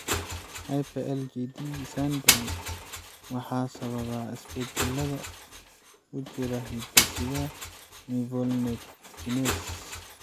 Hyper IgD syndrome waxaa sababa isbeddellada ku jira hidda-sidaha mevalonate kinase (MVK).